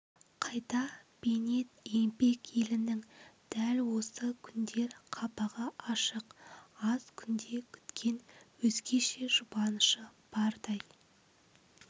қайта бейнет еңбек елінің дәл осы күндер қабағы ашық аз күнде күткен өзгеше жұбанышы бардай